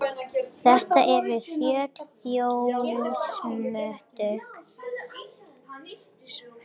Þetta eru fjölþjóðasamtök sem fylgjast með verndun búsvæða hjá fjölda fuglategunda.